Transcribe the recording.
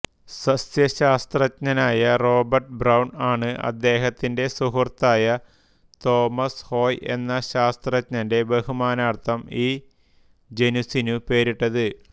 സസ്യശാസ്ത്രജ്ഞനായ Robert Brown ആണ് അദ്ദേഹത്തിന്റെ സുഹൃത്തായ തോമസ് ഹോയ് എന്ന ശാസ്ത്രജ്ഞന്റെ ബഹുമാനാർത്ഥം ഈ ജനുസിന് പേരിട്ടത്